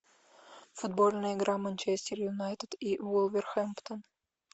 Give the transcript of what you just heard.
футбольная игра манчестер юнайтед и вулверхэмптон